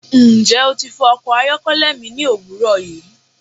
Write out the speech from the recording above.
Njẹ o ti fọ ọkọ ayọkẹlẹ mi ni owurọ yi?